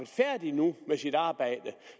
færdig nu med sit arbejde